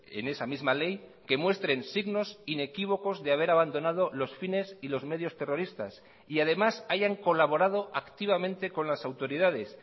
en esa misma ley que muestren signos inequívocos de haber abandonado los fines y los medios terroristas y además hayan colaborado activamente con las autoridades